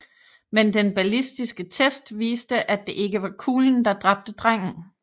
Men den ballistiske test viste at det ikke var kuglen der dræbte drengen